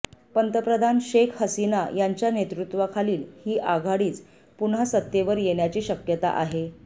पंतप्रधान शेख हसीना यांच्या नेतृत्त्वाखालील ही आघाडीच पुन्हा सत्तेवर येण्याची शक्यता आहे